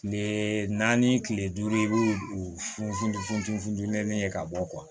Kile naani kile duuru i b'u u funu funteni funteni ye ka bɔ